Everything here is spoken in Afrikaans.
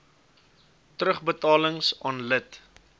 terugbetalings aan lid